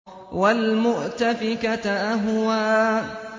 وَالْمُؤْتَفِكَةَ أَهْوَىٰ